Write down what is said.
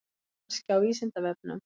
Kannski á Vísindavefnum?